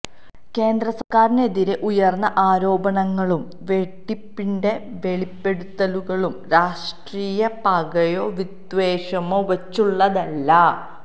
കേന്ദ്രസര്ക്കാരിനെതിരെ ഉയര്ന്ന ആരോപണങ്ങളും വെട്ടിപ്പിന്റെ വെളിപ്പെടുത്തലുകളും രാഷ്ട്രീയ പകയോ വിദ്വേഷമോ വച്ചുള്ളതല്ല